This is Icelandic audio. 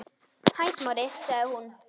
Hæ, Smári- sagði hún.